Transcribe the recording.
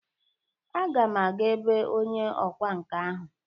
Aga m aga ebe onye ọkwa nka ahụ.